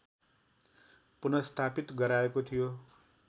पुनर्स्थापित गराएको थियो